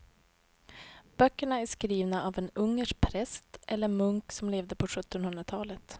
Böckerna är skrivna av en ungersk präst eller munk som levde på sjuttonhundratalet.